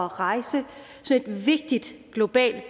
rejse et så vigtigt globalt